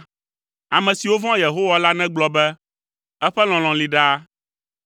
Ame siwo vɔ̃a Yehowa la negblɔ be, “Eƒe lɔlɔ̃ li ɖaa.”